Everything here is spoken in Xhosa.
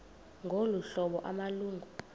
ngolu hlobo amalungu